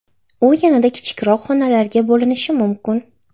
U yanada kichikroq xonalarga bo‘linishi mumkin.